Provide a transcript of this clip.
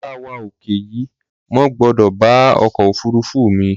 Yára wá ọkọ̀ yìí, mo gbọ́dọ̀ bá ọkọ̀ òfurufú mi